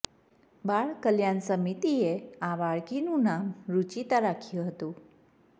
બાળ કલ્યાણ સમિતિએ આ બાળકીનું નામ રૂચિતા રાખ્યું હતું